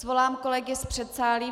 Svolám kolegy z předsálí.